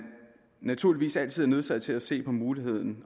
naturligvis altid er nødsaget til at se på muligheden